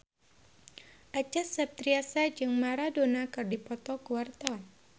Acha Septriasa jeung Maradona keur dipoto ku wartawan